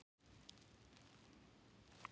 Veistu ekki að það er ljótt að spyrja?